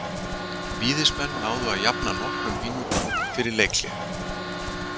Víðismenn náðu að jafna nokkrum mínútum fyrir leikhlé.